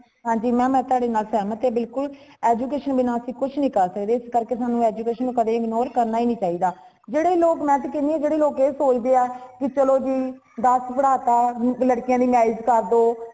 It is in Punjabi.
ਹਾਂਜੀ ma'am ਮੈਂ ਤੁਹਾਡੇ ਨਾਲ ਸਹਿਮਤ ਹਾਂ ਬਿਲਕੁਲ education ਬਿਨਾਂ ਅਸੀਂ ਕੁੱਛ ਨਹੀਂ ਕਰ ਸਕਦੇ ਇਸ ਕਰਕੇ ਸਾਨੂੰ education ਨੂੰ ਕਦੇ ignore ਕਰਨਾ ਹੀ ਨਹੀਂ ਚਾਹੀਦਾ ਜੇਡੇ ਲੋਗ ਮੈਂ ਤਾ ਕਹਿਣੀ ਹਾਂ ਜੇਡੇ ਲੋਗ ਇਹ ਸੋਚਦੇ ਹਾ ਕੀ ਚਲੋ ਜੀ ਦਸ ਪੜਾ ਤਾ ਲੜਕੀਆਂ ਦੀ marriage ਕਰਦੋ